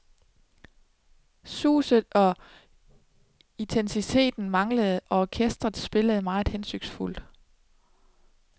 Suget og intensiteten manglede, og orkestret spillede meget hensynsfuldt.